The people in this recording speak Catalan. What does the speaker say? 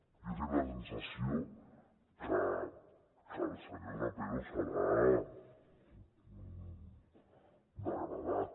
jo tinc la sensació que al senyor trapero se l’ha degradat